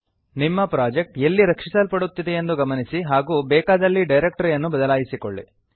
ನಿಮ್ಮ ಪ್ರಾಜೆಕ್ಟ್ ಎಲ್ಲಿ ರಕ್ಷಿಸಲ್ಪಡುತ್ತಿದೆಯೆಂದು ಗಮನಿಸಿ ಹಾಗೂ ಬೇಕಾದಲ್ಲಿ ಡೈರಕ್ಟರಿಯನ್ನು ಬದಲಾಯಿಸಿಕೊಳ್ಳಿ